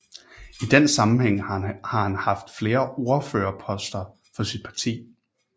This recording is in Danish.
I den sammenhæng har han haft flere ordførerposter for sit parti